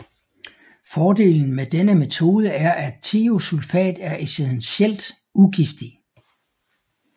Fordelen med denne metode er at thiosulfat er essentielt ugiftig